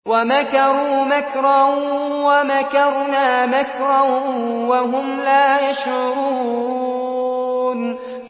وَمَكَرُوا مَكْرًا وَمَكَرْنَا مَكْرًا وَهُمْ لَا يَشْعُرُونَ